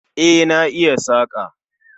E, na iya saƙa